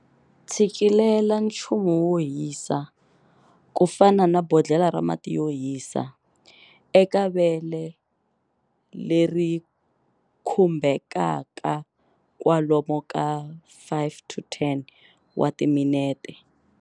Tshikilela nchumu wo hisa, ku fana na bodlhela ra mati yo hisa, eka vele leri khumbhekaka kwalomu ka 5-10 wa timinete.